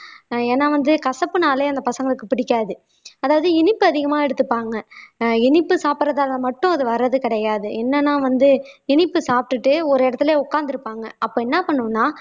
அஹ் ஏன்னா வந்து கசப்புனாலே அந்த பசங்களுக்கு பிடிக்காது அதாவது இனிப்பு அதிகமா எடுத்துப்பாங்க ஆஹ் இனிப்பு சாப்பிடறதால மட்டும் அது வர்றது கிடையாது என்னன்னா வந்து இனிப்பு சாப்பிட்டுட்டு ஒரு இடத்துலயே உட்கார்ந்து இருப்பாங்க அப்ப என்ன பண்ணும்னா